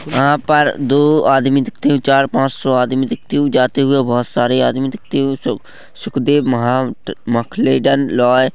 यहाँ पर दो आदमी दिखते चार पॉँच सो आदमी दिखते हुए जाते हुए बहोत सारे आदमी दिखते हुए सु सुखदेव महा मखलेदन लॉ--